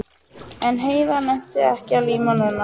En Heiða nennti ekki að líma núna.